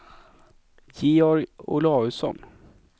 Georg Olausson